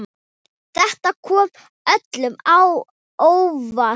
Þetta kom öllum á óvart.